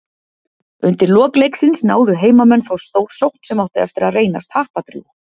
Undir lok leiksins náðu heimamenn þó stórsókn sem átti eftir að reynast happadrjúg.